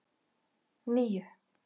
níu